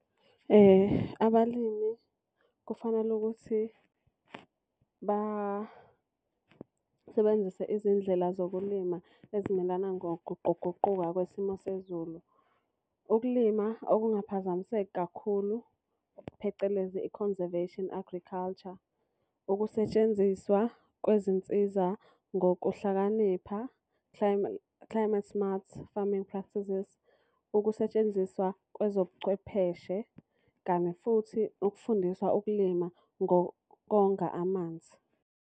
Abalimi kufanele ukuthi basebenzise izindlela zokulima ezimelana ngokuguquguquka kwesimo sezulu. Ukulima okungaphazamiseki kakhulu, phecelezi i-Conservation Agriculture. Ukusetshenziswa kwezinsiza ngokuhlakanipha Climate Smart Farming Practices. Ukusetshenziswa kwezobuchwepheshe kame futhi ukufundisa ukulima ngokonga amanzi.